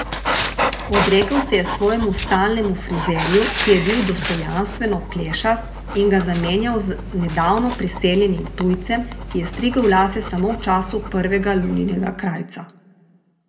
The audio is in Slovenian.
Odrekel se je svojemu stalnemu frizerju, ki je bil dostojanstveno plešast, in ga zamenjal z nedavno priseljenim tujcem, ki je strigel lase samo v času prvega luninega krajca.